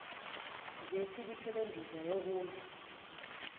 zethikithi lendiza yokuya